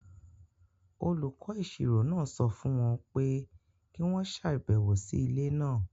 Olùkọ́ Ìṣirò sọ fún wọn pé kí wọ́n ṣàbẹ̀wò sí ilé náà.